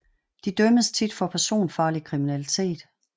De dømmes tit for personfarlig kriminalitet